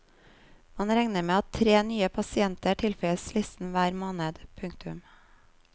Man regner med at tre nye pasienter tilføyes listen hver måned. punktum